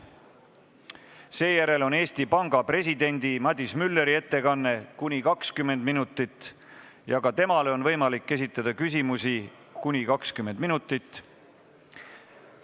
Seejärel on Eesti Panga presidendi Madis Mülleri ettekanne ja ka temale on võimalik esitada küsimusi kuni 20 minuti jooksul.